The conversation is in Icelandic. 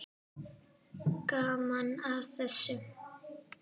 Gaman að þessu.